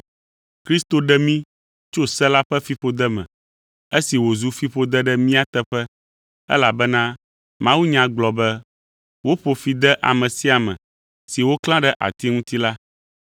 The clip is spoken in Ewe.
Kristo ɖe mí tso se la ƒe fiƒode me, esi wòzu fiƒode ɖe mía teƒe elabena mawunya gblɔ be, “Woƒo fi de ame sia ame si woklã ɖe ati ŋuti la.”